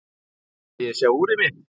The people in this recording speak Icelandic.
Viljiði sjá úrið mitt?